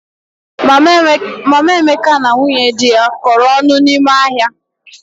Mama Emeka na nwunye dị ya kọrọ ọnụ n'ime ahịa.